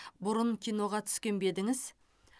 бұрын киноға түскен бе едіңіз